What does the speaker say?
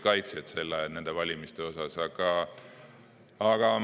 Kindlasti oli ka nende valimiste puhul teiesuguseid kaitsjaid.